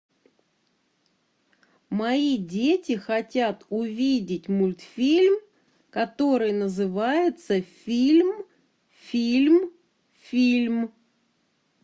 мои дети хотят увидеть мультфильм который называется фильм фильм фильм